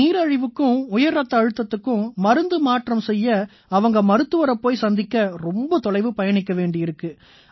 இந்த நீரிழிவுக்கும் உயர் ரத்த அழுத்தத்துக்கும் மருந்து மாற்றம் செய்ய அவங்க மருத்துவரைப் போய் சந்திக்க ரொம்ப தொலைவு பயணிக்க வேண்டியிருக்கு